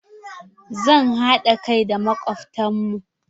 Za mh haɗa kai da makobtan mu.